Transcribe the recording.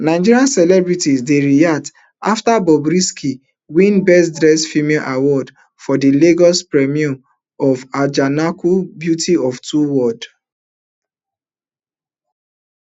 nigeria celebrities dey react afta bobrisky win best dressed female award for di lagos premier of ajanaku beast of two worlds